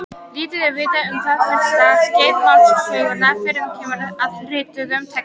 Lítið er vitað um þetta fyrsta skeið málsögunnar fyrr en kemur að rituðum textum.